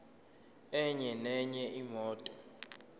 enye nenye imoto